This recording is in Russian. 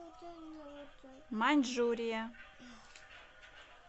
маньчжурия